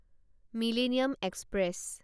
millennium express